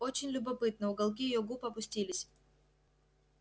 очень любопытно уголки её губ опустились